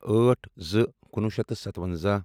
ٲٹھ زٕ کُنوُہ شیٚتھ تہٕ سَتوَنٛزاہ